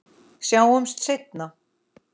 Sjáumst seinna.